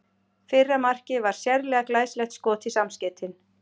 Fyrra markið var sérlega glæsilegt skot í samskeytin.